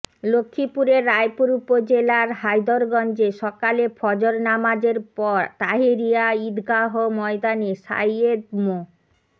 লক্ষ্মীপুরের রায়পুর উপজেলার হায়দরগঞ্জে সকালে ফজর নামাজের পর তাহেরিয়া ঈদগাহ ময়দানে সাইয়্যেদ মো